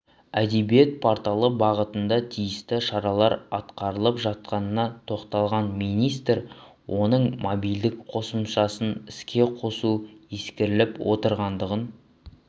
әдебиет порталы бағытында тиісті шаралар атқарылып жатқанына тоқталған министр оның мобильдік қосымшасын іске қосу ескеріліп отырғандығын